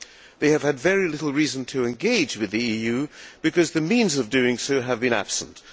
They have had very little reason to engage with the EU because the means of doing so have been absent.